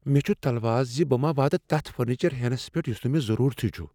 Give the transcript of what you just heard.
مےٚ چھ تلواس زِ بہ ما واتہ تَتھ فرنیچر ہینس پیٹھ یُس نہ مےٚ ضرورتھٕے چُھ۔